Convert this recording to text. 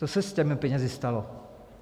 Co se s těmi penězi stalo?